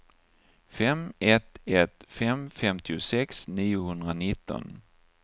fem ett ett fem femtiosex niohundranitton